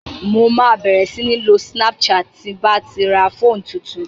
Mo ma bẹ̀rẹ̀ sí ń lo snapchat ti ń bá ti ra fóònù tuntun